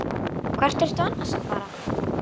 Hvert ertu annars að fara?